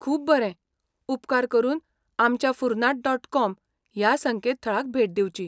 खूब बरें! उपकार करून आमच्या फुर्नांट डॉट, कॉम ह्या संकेतथळाक भेट दिवची.